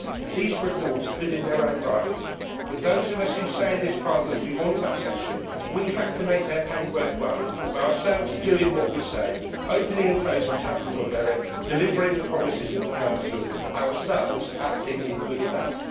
These reforms are good in their own right, but, those of us who say in this Parliament we want accession we have to make their pain worthwhile by ourselves doing what we say, opening and closing chapters on merit, delivering the promises of the Council, ourselves acting in good faith.